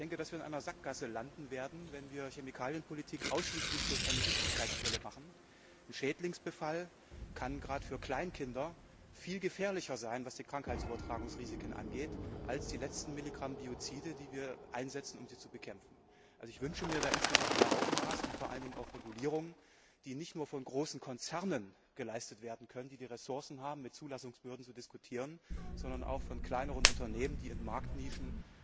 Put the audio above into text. Ich denke, dass wir in einer Sackgasse landen werden, wenn wir Chemikalienpolitik ausschließlich durch eine Giftigkeitsbrille machen. Schädlingsbefall kann gerade für Kleinkinder was die Krankheitsübertragungsrisiken angeht, viel gefährlicher sein als die letzten Milligramm Biozide, die wir einsetzen, um sie zu bekämpfen. Ich wünsche mir da insgesamt mehr Augenmaß und vor allen Dingen auch Regulierungen, die nicht nur von großen Konzernen bewältigt werden können, die die Ressourcen haben, um mit Zulassungsbehörden zu diskutieren, sondern auch von kleineren Unternehmen, die in Marktnischen